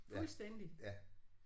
Fuldstændig